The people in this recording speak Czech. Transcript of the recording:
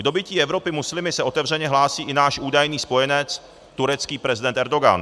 K dobytí Evropy muslimy se otevřeně hlásí i náš údajný spojenec turecký prezident Erdogan.